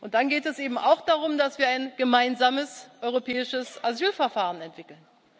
Weg. Dann geht es eben auch darum, dass wir ein gemeinsames europäisches Asylverfahren entwickeln.